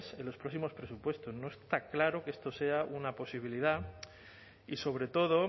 en los próximos presupuestos no está claro que esto sea una posibilidad y sobre todo